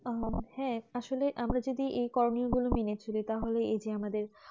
আহ আসলে আমাদের যে এই করণীয় গুলো মেনে এদেরচলি তাহলে এই যে আমাদের